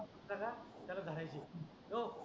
सगळे त्याला धरायचे ओ